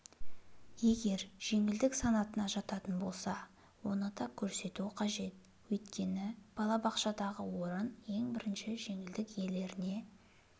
егер жеңілдік санатына жататын болса оны да көрсету қажет өйткені балабақшадағы орын ең бірінші жеңілдік иелеріне